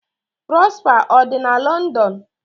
Prosper ọ dị na London?'